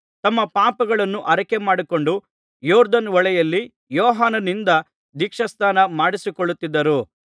ತಮ್ಮ ಪಾಪಗಳನ್ನು ಅರಿಕೆಮಾಡಿಕೊಂಡು ಯೊರ್ದನ್ ಹೊಳೆಯಲ್ಲಿ ಯೋಹಾನನಿಂದ ದೀಕ್ಷಾಸ್ನಾನ ಮಾಡಿಸಿಕೊಳ್ಳುತ್ತಿದ್ದರು